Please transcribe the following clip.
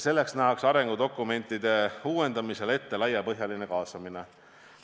Selleks nähakse arengudokumentide uuendamisel ette laiapõhjaline kaasamine.